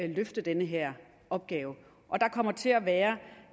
løfte den her opgave og der kommer til at være